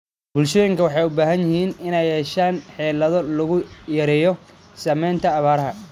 Bulshooyinka waxay u baahan yihiin inay yeeshaan xeelado lagu yareeyo saameynta abaaraha.